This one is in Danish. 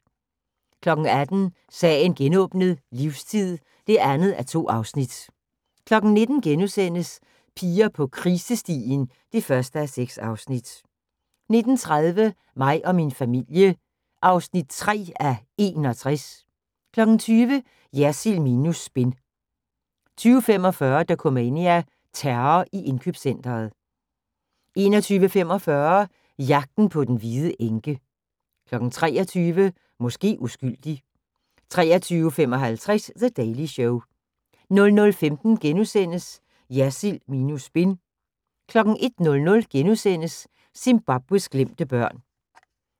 18:00: Sagen genåbnet: Livstid (2:2) 19:00: Piger på krisestien (1:6)* 19:30: Mig og min familie (3:61) 20:00: Jersild minus spin 20:45: Dokumania: Terror i indkøbscentret 21:45: Jagten på den hvide enke 23:00: Måske uskyldig 23:55: The Daily Show 00:15: Jersild minus spin * 01:00: Zimbabwes glemte børn *